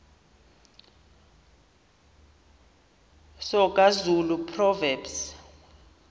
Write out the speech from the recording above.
soga zulu proverbs